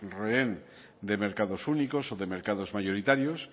rehén de mercados únicos o de mercados mayoritarios